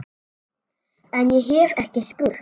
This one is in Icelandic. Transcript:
En- ég hef ekki spurt.